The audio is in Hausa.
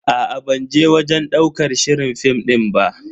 Aa ban je wajen ɗaukar shirin fim din ba.